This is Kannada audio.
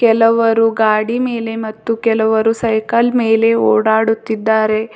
ಕೆಲವರು ಗಾಡಿ ಮೇಲೆ ಮತ್ತು ಕೆಲವರು ಸೈಕಲ್ ಮೇಲೆ ಓಡಾಡುತ್ತಿದ್ದಾರೆ.